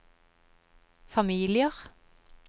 familier